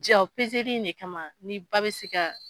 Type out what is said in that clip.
Ja o peseli in de kama ni ba bɛ se ka